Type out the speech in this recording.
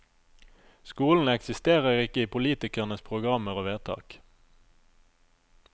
Skolen eksisterer ikke i politikernes programmer og vedtak.